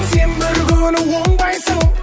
сен бір күні оңбайсың